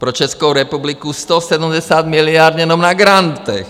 Pro Českou republiku 170 miliard jenom na grantech.